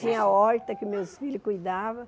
Tinha a horta que meus filhos cuidavam.